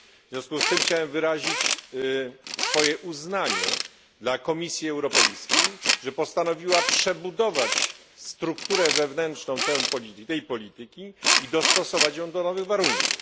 W związku z tym chciałem wyrazić swoje uznanie dla Komisji Europejskiej, że postanowiła przebudować strukturę wewnętrzną tej polityki i dostosować ją do nowych warunków.